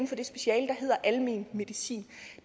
er almen medicin